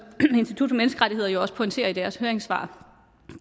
institut for menneskerettigheder jo også pointerer i deres høringssvar